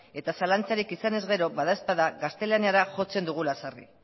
eta zalantzarik izanez gero badaezpada gaztelaniara jotzen dugula sarri